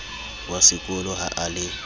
wa sekolo ha a le